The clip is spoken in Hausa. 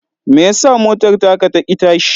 Me ya sa motar taka ta ƙi tashi?